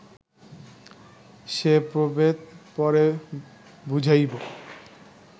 সে প্রভেদ পরে বুঝাইব